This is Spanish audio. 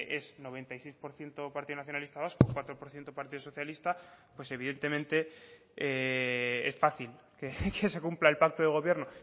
es noventa y seis por ciento partido nacionalista vasco cuatro por ciento partido socialista pues evidentemente es fácil que se cumpla el pacto de gobierno